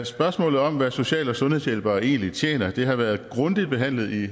spørgsmålet om hvad social og sundhedshjælpere egentlig tjener har været grundigt behandlet i